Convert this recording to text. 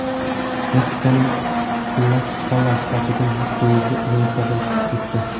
Meksikaning Tlaskala shtatida yuk poyezdi relslardan chiqib ketdi.